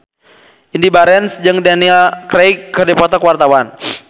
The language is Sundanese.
Indy Barens jeung Daniel Craig keur dipoto ku wartawan